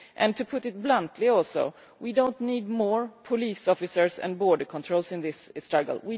To put it bluntly, we do not need more police officers and border controls in this struggle.